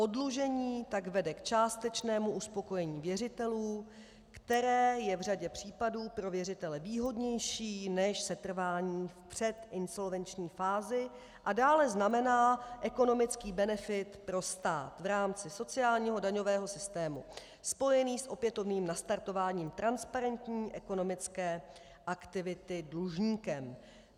Oddlužení tak vede k částečnému uspokojení věřitelů, které je v řadě případů pro věřitele výhodnější než setrvání v předinsolvenční fázi, a dále znamená ekonomický benefit pro stát v rámci sociálního daňového systému spojený s opětovným nastartováním transparentní ekonomické aktivity dlužníkem.